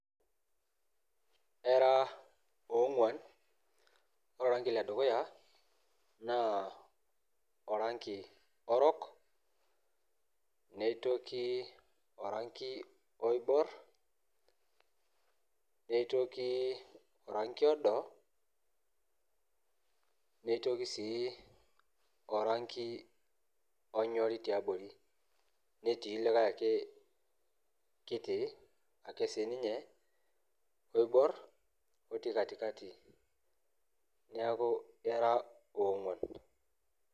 Era ong'uan. Ore oranki ledukuya, naa oranki orok, nioki oranki oibor, nitoki oranki odo, nitoki si oranki onyori tiabori. Netii likae ake kiti ake sininye oibor otii katikati. Neeku era ong'uan.